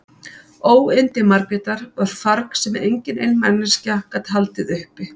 Óyndi Margrétar var farg sem engin ein manneskja gat haldið uppi.